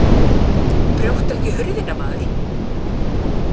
Brjóttu ekki hurðina, maður!